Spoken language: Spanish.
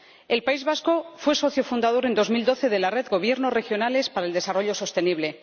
El País Vasco fue socio fundador, en 2012, de la Red de Gobiernos Regionales para el Desarrollo Sostenible.